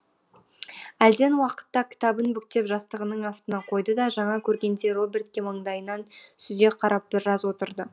әлден уақытта кітабын бүктеп жастығының астына қойды да жаңа көргендей робертке маңдайынан сүзе қарап біраз отырды